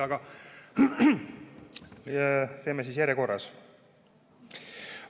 Aga teeme järjekorras.